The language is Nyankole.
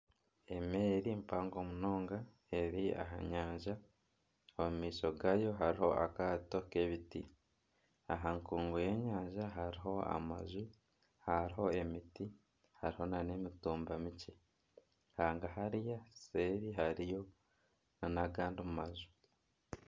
Emeeri mpango munonga eri aha nyanja omu maisho gaayo hariho akaato k'ebiti. Aha nkungu y'enyanja hariho amaju, hariho emiti hariho nana emitumba mikye . Hanga hariya nseeri hariyo nana agandi maju.